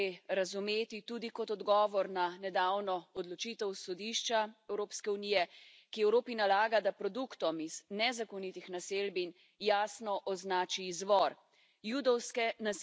To potezo gre razumeti tudi kot odgovor na nedavno odločitev Sodišča Evropske unije, ki Evropi nalaga, da produktom iz nezakonitih naselbin jasno označi izvor.